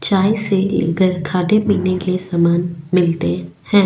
चाय से लेकर खाने पीने के सामान मिलते हैं ।